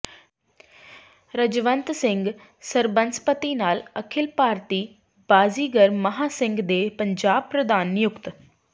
ਰਜਵੰਤ ਸਿੰਘ ਸਰਬਸੰਮਤੀ ਨਾਲ ਅਖਿਲ ਭਾਰਤੀ ਬਾਜ਼ੀਗਰ ਮਹਾਂ ਸੰਘ ਦੇ ਪੰਜਾਬ ਪ੍ਰਧਾਨ ਨਿਯੁਕਤ